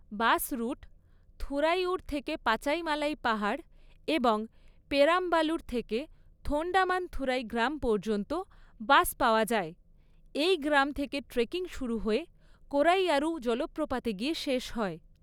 বাস route, Thuraiyur থেকে পাচাইমালাই পাহাড় এবং পেরাম্বালুর থেকে থোন্ডামান্থুরাই গ্রাম পর্যন্ত বাস পাওয়া যায়। এই গ্রাম থেকে ট্রেকিং শুরু হয়ে কোরাইয়ারু জলপ্রপাতে গিয়ে শেষ হয়।